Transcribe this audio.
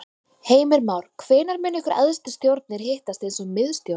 Heimir Már: Hvenær munu ykkar æðstu stjórnir hittast eins og miðstjórn?